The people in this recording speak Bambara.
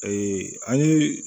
an ye